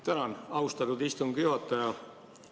Tänan, austatud istungi juhataja!